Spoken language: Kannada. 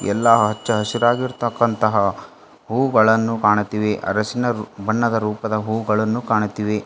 ಎಲ್ಲಾ ಅಚ್ಚಹರಾಗಿರತಕ್ಕಂತಹ ಹೂಗಳನ್ನು ಕಾಣುತ್ತಿವೆ ಅರಿಶಿಣ ಬಣ್ಣದ ರೂಪದ ಇವುಗಳು ಕಾಣುತ್ತಿವೆ.